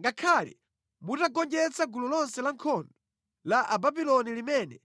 Ngakhale mutagonjetsa gulu lonse lankhondo la Ababuloni limene